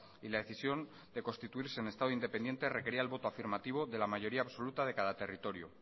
y la decisión de constituirse en estado independiente requería el voto afirmativo de la mayoría absoluta de cada territorio